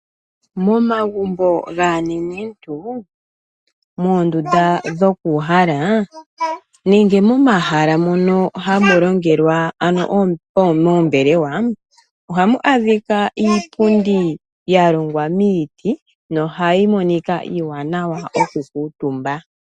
Momagumbo gaanenentu, moondunda dhoku uhala nenge momahala mono hamu longelwa ano moombelewa, ohamu adhika iipundi ya longwa miiti nohayi monika iiwaanawa oku kuutumba.